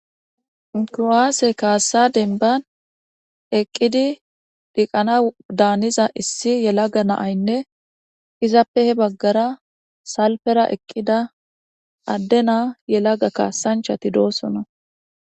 Kuwasse ksa denban eqid dhiqanas daniza issi yelaga na'ynne izappe heni bagara salfen eqida ade kasanchchat dossona